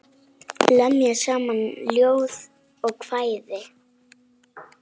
Lemja saman ljóð og kvæði.